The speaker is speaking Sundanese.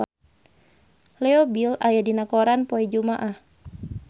Leo Bill aya dina koran poe Jumaah